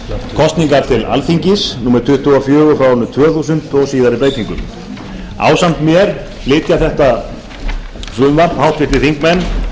kosningar til alþingis númer tuttugu og fjórir frá árinu tvö þúsund með síðari breytingum ásamt mér flytja þetta frumvarp háttvirtir þingmenn